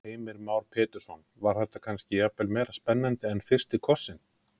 Heimir Már Pétursson: Var þetta kannski, jafnvel meiri spenna en, en fyrsti kossinn?